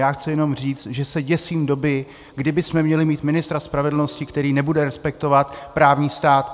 Já chci jenom říct, že se děsím doby, kdy bychom měli mít ministra spravedlnosti, který nebude respektovat právní stát.